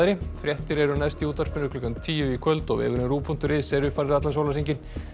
fréttir eru næst í útvarpinu klukkan tíu í kvöld og vefurinn ruv punktur is er uppfærður allan sólarhringinn